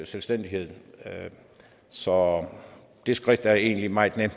selvstændighed så det skridt er egentlig meget nemt